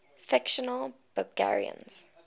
fictional belgians